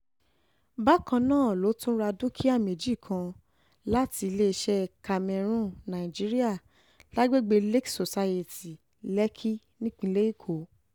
um bákan náà ló tún ra dúkìá méjì kan láti iléeṣẹ́ camarron um nigeria lágbègbè lakes society lèkì nípínlẹ̀ èkó